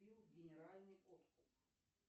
генеральный откуп